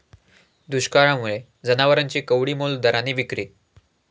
दुष्काळामुळे जनावरांची कवडीमोल दराने विक्री